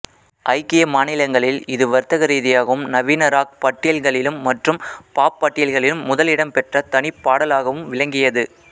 ஐக்கிய மாநிலங்களில் இது வர்த்தகரீதியாகவும் நவீன ராக் பட்டியல்களிலும் மற்றும் பாப் பட்டியல்களிலும் முதல் இடம் பெற்ற தனிப்பாடலாகவும் விளங்கியது